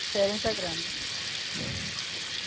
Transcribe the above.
Diferença é grande, né?